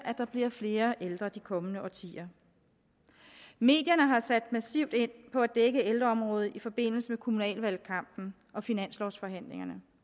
der bliver flere ældre de kommende årtier medierne har sat massivt ind på at dække ældreområdet i forbindelse med kommunalvalgkampen og finanslovsforhandlingerne